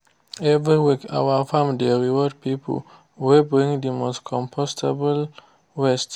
every week our farm dey reward people wey bring the most compostable waste.